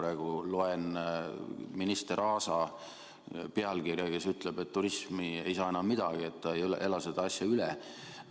Ma praegu loen üht minister Aasa pealkirja, ta ütleb, et turism ei saa enam midagi, turism ei ela seda olukorda üle.